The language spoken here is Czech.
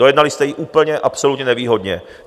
Dojednali jste ji úplně, absolutně nevýhodně.